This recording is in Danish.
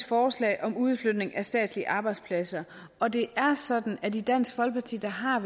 forslag om udflytning af statslige arbejdspladser og det er sådan at vi i dansk folkeparti har